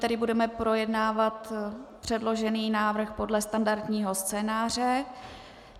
Tedy budeme projednávat předložený návrh podle standardního scénáře.